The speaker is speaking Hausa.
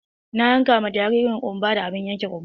Na yanka ma jaririn ƙunba da abun yankan ƙunba.